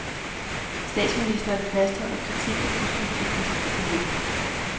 Statsministeren fastholder kritik af buskonfliktens forløb.